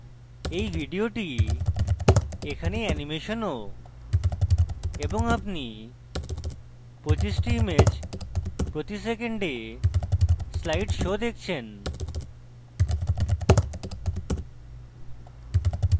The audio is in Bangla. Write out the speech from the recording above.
এই video এখানে অ্যানিমেশন ও এবং আপনি 25 টি ইমেজ প্রতি সেকেন্ডে slide show দেখছেন